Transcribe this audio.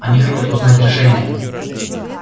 они хотят узнать решение